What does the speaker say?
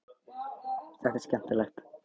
Þetta er skemmtilegt.